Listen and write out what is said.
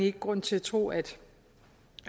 ikke grund til at tro at